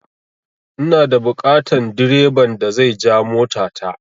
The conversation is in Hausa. Ina da buƙatan direban da zai ja mota ta